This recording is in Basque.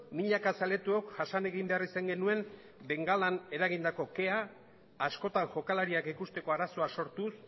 milaka zaletuok jasan egin behar izan genuen bengalek eragindako kea askotan jokalariak ikusteko arazoak sortuz